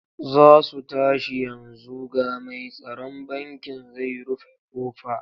Za su tashi yanzu ga mai tsaron bankin zai rufe ƙofa.